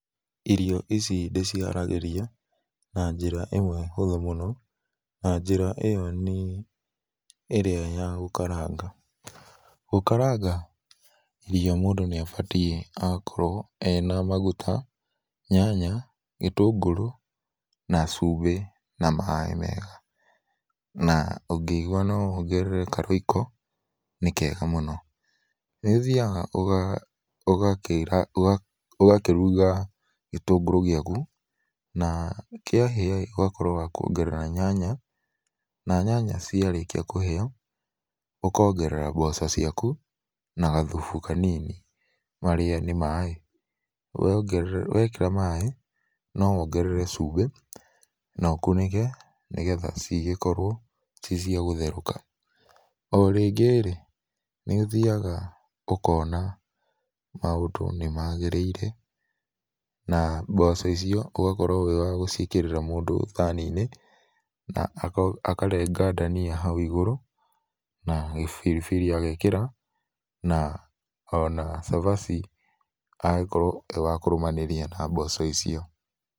Irio ici ndĩciharagĩria na njĩra ĩmwe hũthũ mũno, na njĩra ĩyo nĩ ĩrĩa ya gũkaranga. Gũkaranga irio mũndũ níĩbatiĩ gũkorwo ena maguta, nyanya, gĩtũngũrũ na cumbĩ na maĩ mega. Na, ũngĩigua no wongerere ka Royco nĩkega mũno. Nĩũthiga ũgakĩruga gĩtũngũrũ gĩaku, na kĩahĩa-ĩ ũgakorwo wa kuongerera nyanya, na nyanya ciarĩkia kũhĩa ũkongerera mboco ciaku na gathubu kanaini marĩa nĩ maĩ. Wekĩra maĩ, no wongerere cumbĩ na ũkunĩke nĩgetha cigĩorwo ciĩ cia gũtherũka. O rĩngĩ-rĩ, nĩũthiaga ũkona maũndũ nĩmagĩrĩire na mboco icio ũgakorwo wĩ wa gũciĩkĩrĩra mũndũ thani-inĩ na akarenga dania hau igũrũ na gĩbiribiri agekĩra na ona cabaci agakorwo e wa kũrũmanĩria na mboco icio.